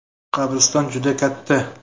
Qabriston juda katta.